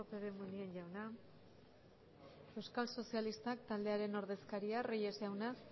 lópez de munain jauna euskal sozialista taldearen ordezkaria reyes jauna